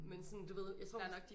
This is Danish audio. Men sådan du ved jeg tror hvis